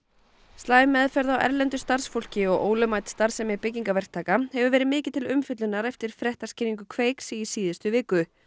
slæm meðferð á erlendu starfsfólki og ólögmæt starfsemi byggingaverktaka hefur verið mikið til umfjöllunar eftir fréttaskýringu Kveiks í síðustu viku